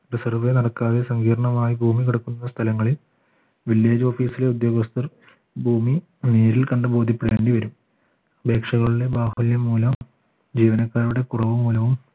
നടക്കാതെ സങ്കീർണമായി ഭൂമി കിടക്കുന്ന സ്ഥലങ്ങളിൽ village office ലെ ഉദ്യോഗസ്ഥർ ഭൂമി നേരിൽ കണ്ട് ബോധ്യപ്പെടേണ്ടി വരും അപേക്ഷകളുടെ ബാഹുല്യം മൂലം ജീവനക്കാരുടെ